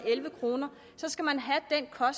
jeg har